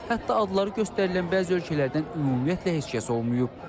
Hətta adları göstərilən bəzi ölkələrdən ümumiyyətlə heç kəs olmayıb.